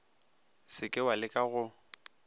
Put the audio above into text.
se ke wa leka go